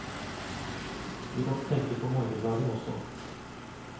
Vi måtte tenke på morgendagen også.